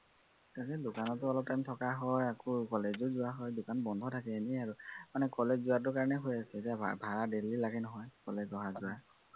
তাকে দোকানতো অলপ time থকা হয় আকৌ college ও যোৱা হয়, দোকান বন্ধ থাকে, এনেই আৰু মানে college যোৱাটো কাৰনে হৈ আছে, এতিয়া ভাড়া daily লাগে নহয় college অহা যোৱা